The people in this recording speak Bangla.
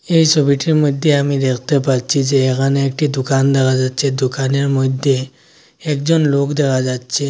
এই ছবিটির মধ্যে আমি দেখতে পাচ্ছি যে এখানে একটি দোকান দেখা যাচ্ছে দোকানের মধ্যে একজন লোক দেখা যাচ্ছে।